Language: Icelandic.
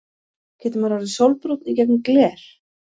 Getur maður orðið sólbrúnn í gegnum gler?